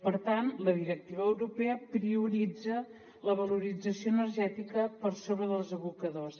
per tant la directiva europea prioritza la valorització energètica per sobre dels abocadors